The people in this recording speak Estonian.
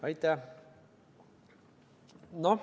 Aitäh!